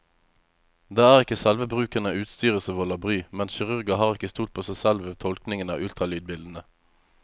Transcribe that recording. Det er ikke selve bruken av utstyret som volder bry, men kirurger har ikke stolt på seg selv ved tolkningen av ultralydbildene.